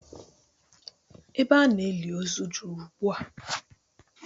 Ebe a na-eli ozu juru ugbu a